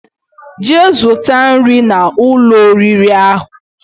Jee zuta nri na Ụlọ oriri ahu